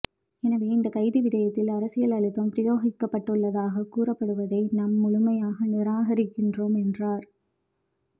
எனவே இந்த கைது விடயத்தில் அரசியல் அழுத்தம் பிரயோகிக்கப்பட்டுள்ளதாகக் கூறப்படுவதை நாம் முழுமையாக நிராகரிக்கின்றோம் என்றார்